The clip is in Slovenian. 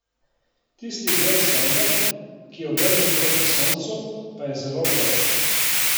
Tisti del sonde, ki je obrnjen proti Soncu, pa je zelo vroč.